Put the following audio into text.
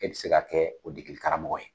E bɛ se ka kɛ o dekaramɔgɔ ye.